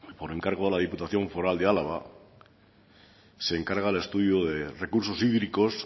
por encargo de la diputación foral de álava se encarga el estudio de recursos hídricos